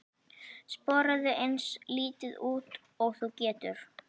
Sporaðu eins lítið út og þú getur.